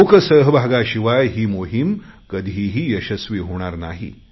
लोक सहभागाशिवाय ही मोहिम कधीही यशस्वी होणार नाही